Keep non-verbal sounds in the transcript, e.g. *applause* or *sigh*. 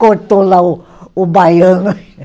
Cortou lá o o baiano. *laughs*